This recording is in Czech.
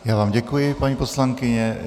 Já vám děkuji, paní poslankyně.